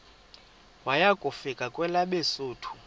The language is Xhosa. waya kufika kwelabesuthu